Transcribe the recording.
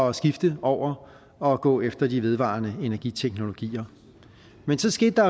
at skifte over og gå efter de vedvarende energiteknologier men så skete der